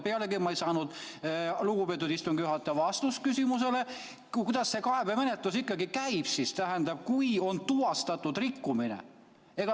Pealegi ei saanud ma lugupeetud istungi juhatajalt vastust küsimusele, kuidas see kaebemenetlus siis ikkagi käib, kui on tuvastatud rikkumine.